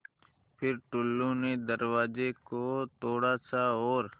फ़िर टुल्लु ने दरवाज़े को थोड़ा सा और